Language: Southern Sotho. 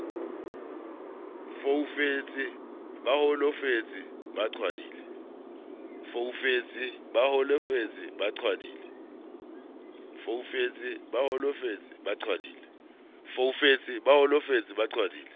foufetse ba holofetse ba qhwadile